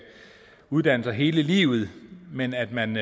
uddanne sig hele livet men at man